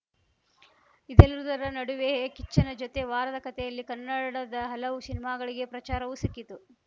ಇದೆಲ್ಲದರ ನಡುವೆ ಕಿಚ್ಚನ ಜೊತೆ ವಾರದ ಕತೆಯಲ್ಲಿ ಕನ್ನಡದ ಹಲವು ಸಿನಿಮಾಗಳಿಗೆ ಪ್ರಚಾರವೂ ಸಿಕ್ಕಿತು